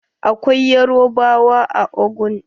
There are Yoruba in Ogun.